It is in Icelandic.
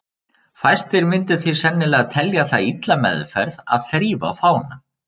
Fæstir myndu því sennilega telja það illa meðferð að þrífa fánann.